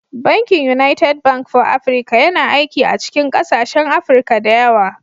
Bankin United Bank for Africa (UBA) yana aiki a cikin ƙasashen Afirka da yawa.